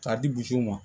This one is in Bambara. K'a di ma